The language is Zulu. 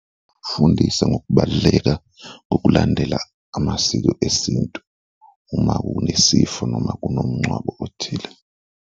Fundisa ngokubaluleka kokulandela amasiko esintu uma kunesifo noma kunomngcwabo othile.